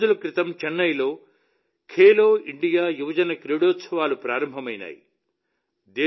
కొద్ది రోజుల క్రితం చెన్నైలో ఖేలో ఇండియా యువజన క్రీడోత్సవాలు ప్రారంభమయ్యాయి